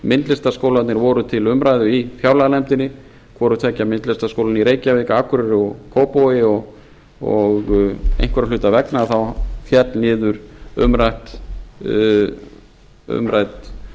myndlistarskóla kópavogs en myndlistarskólarnir voru til umræðu í fjárlaganefndinni hvoru tveggja myndlistarskóla í reykjavík akureyri og kópavogi og einhverra hluta vegna féll niður umrædd